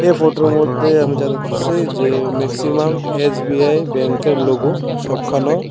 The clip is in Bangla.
ফটোর মধ্যে আমি যা দেখতাছি যে ম্যাক্সিমাম এস_বি_আই ব্যাঙ্কের লোগো সবখানো।